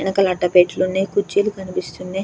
ఎనకాల అట్ట పెట్లున్నాయి కుర్చీలు కనిపిస్తున్నాయ్.